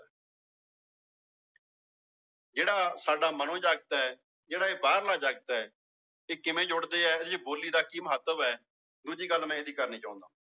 ਜਿਹੜਾ ਸਾਡਾ ਮਨੋਜਗਤ ਜਿਹੜਾ ਇਹ ਬਾਹਰਲਾ ਜਗਤ ਹੈ ਇਹ ਕਿਵੇਂ ਜੁੜਦੇ ਇਹੋ ਜਿਹੇ ਬੋਲੀ ਦਾ ਕੀ ਮਹੱਤਵ ਹੈ ਦੂਜੀ ਗੱਲ ਮੈਂ ਇਹਦੀ ਕਰਨੀ ਚਾਹੁਨਾ